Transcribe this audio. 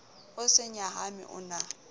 o se nyahame o na